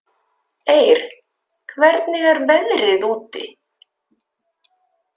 Eir, hvernig er veðrið úti?